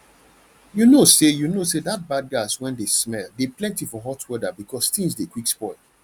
you know say you know say that bad gas wen de smell dey plenty for hot weather because things dey quick spoil